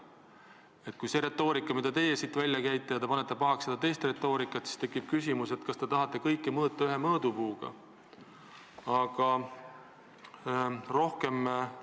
Kui see on see retoorika, mida teie siin kasutate, ja te panete pahaks teiste retoorikat, siis tekib küsimus, kas te tahate kõiki ühe mõõdupuuga mõõta.